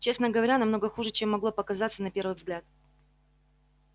честно говоря намного хуже чем могло показаться на первый взгляд